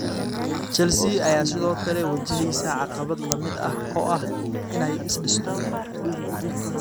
Chelsea ayaa sidoo kale wajaheysa caqabad la mid ah oo ah inay is dhisto.